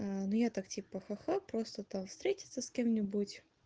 ну я так типа ха-ха просто там встретиться с кем-нибудь